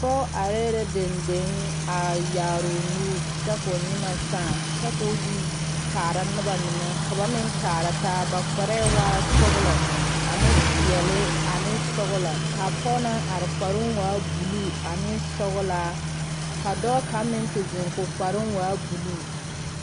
pɔge are la denden a yaare o nuuri kyɛ. ka o nyimɛ saa kyɛ kɔ kaara noba mine ka ba meŋ kaara taa ba kpare waa la sɔglɔ ane pɛɛle ane sɔglɔ a pɔge. naŋ are kparoo waa la buluu ane sɔglaa ka dɔɔ kaŋ. meŋ gaati te zeŋ kɔ kparoo. waa buluu.